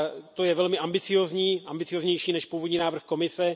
To je velmi ambiciózní, ambicióznější než původní návrh Evropské komise.